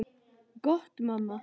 Gott mamma.